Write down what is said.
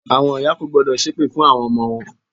Àwọn ìyá kò gbọ́dọ̀ ṣépè fún àwon ọmọ wọn